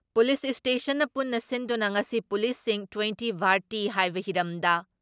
police ꯏꯁꯇꯦꯁꯟꯅ ꯄꯨꯟꯅ ꯁꯤꯟꯗꯨꯅ ꯉꯁꯤ ꯄꯨꯂꯤꯁꯁꯤꯡ ꯇꯣꯏꯟꯇꯤ ꯚꯥꯔꯇꯤ ꯍꯥꯏꯕ ꯍꯤꯔꯝꯗ